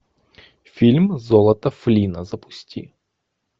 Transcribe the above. фильм золото флинна запусти